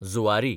Zuari